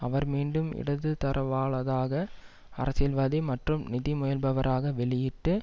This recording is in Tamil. அவர் மீண்டும் இடது தரவாளதாக அரசியல்வாதி மற்றும் நிதி முயல்பவராக வெளி பட்டு